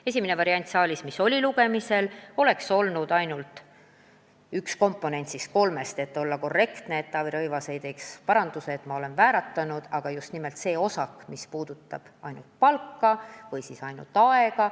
Esimene variant, mis meil lugemisel oli, nägi ette ainult ühe komponendi kolmest või kui olla korrektne, nii et Taavi Rõivas mind ei parandaks, et mu keel on vääratanud, nägi ette just nimelt selle osaku, mis puudutab ainult palka või siis ainult tööaega.